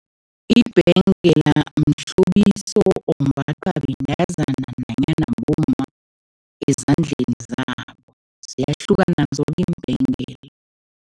Ibhengela mhlobiso ombathwa bentazana nanyana bomma ezandleni zabo, ziyahlukana zoke iimbhengela.